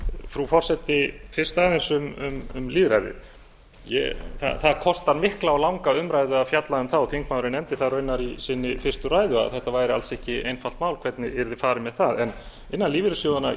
frú forseti fyrst aðeins um lýðræðið það kostar mikla og langa umræðu að fjalla um það og þingmaðurinn nefndi það raunar í sinni fyrstu ræðu að þetta væri alls ekki einfalt mál hvernig yrði farið með það en innan lífeyrissjóðanna